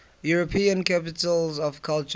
european capitals of culture